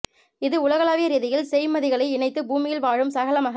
இது உலகளாவிய ரீதியில் செய்மதிகளை இணைத்து பூமியில் வாழும் சகல மக